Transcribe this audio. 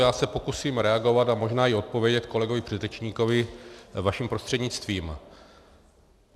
Já se pokusím reagovat a možná i odpovědět kolegovi předřečníkovi vaším prostřednictvím.